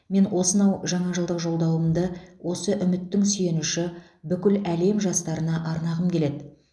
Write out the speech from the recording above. мен осынау жаңа жылдық жолдауымды осы үміттің сүйеніші бүкіл әлем жастарына арнағым келеді